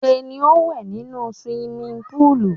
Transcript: Ṣé ni ó ń wẹ̀ nínú suwimi púùlù.